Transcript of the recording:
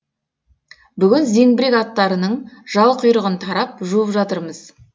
бүгін зеңбірек аттарының жал құйрығын тарап жуып жатырмыз